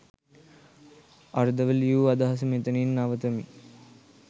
අර්ධව ලියු අදහස මෙතනින් නවතමි.